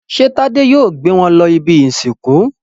Ṣé Tádé yóò gbé wọn lọ ibi-ìsìnkú?